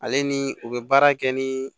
Ale ni u bɛ baara kɛ ni